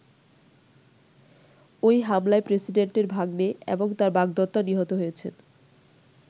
ঐ হামলায় প্রেসিডেন্টের ভাগনে এবং তার বাগদত্তা নিহত হয়েছেন।